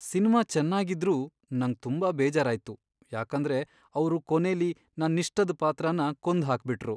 Cinema ಚೆನ್ನಾಗಿದ್ರೂ ನಂಗ್ ತುಂಬಾ ಬೇಜಾರಾಯ್ತು, ಯಾಕಂದ್ರೆ ಅವ್ರು ಕೊನೇಲಿ ನನ್ನಿಷ್ಟದ್ ಪಾತ್ರನ ಕೊಂದ್ಹಾಕ್ಬಿಟ್ರು.